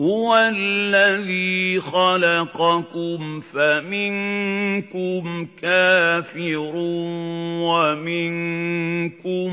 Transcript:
هُوَ الَّذِي خَلَقَكُمْ فَمِنكُمْ كَافِرٌ وَمِنكُم